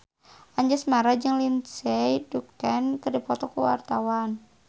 Anjasmara jeung Lindsay Ducan keur dipoto ku wartawan